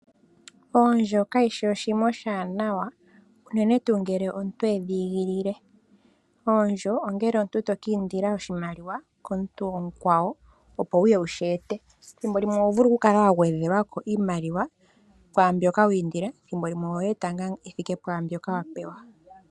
Oondjo kadhi shi oshinima oshaanawa unene tuu ngele omuntu edhiigilile. Oondjo ongele omuntu to kiindila oshimaliwa komuntu omukwawo opo wuye wu shi ete ethimbo limwe oho vulu okukala wa gwedhelwako iimaliwa kwaa mbyoka wiindila ethimbo limwe ohoyi eta ngaa yi thike pwaa mbyoka wa pewa.